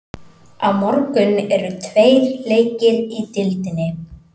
Á morgun eru tveir leikir í deildinni.